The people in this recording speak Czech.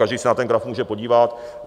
Každý se na ten graf může podívat.